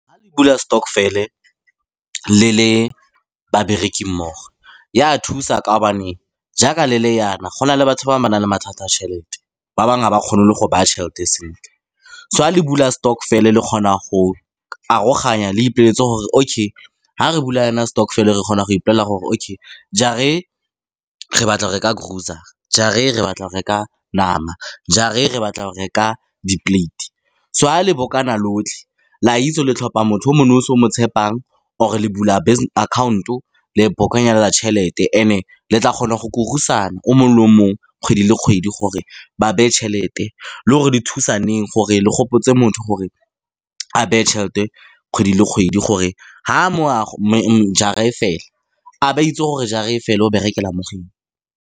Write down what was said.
Fa le bula stokvel-e le le babereki mmogo, ya thusa ka gobane jaaka le le jana, go na le batho ba ba nang le mathata a tšhelete. Ba bangwe ga ba kgone le go baya tšhelete sentle. So fa le bula stokvel-e, le kgona go aroganya, le ipoleletse gore okay, fa re bula jana stokvel-e, re kgona go ipolelela gore okay, jara e re batla go reka grosser-a, jara e re batla go reka nama, jara e re batla go reka di-plate-e, so fa le lotlhe, le a itse gore le tlhopha motho o mo nosi o mo tshepang, or-e le bula account-o, le tšhelete, and-e le tla kgona go kurusana o mongwe le o mongwe kgwedi le kgwedi gore ba beye tšhelete, le gore le thusaneng, gore le gopotse motho gore a beye tšhelete kgwedi le kgwedi, gore fa jara e fela, a be a itse gore jara e fela o berekela mo go eng.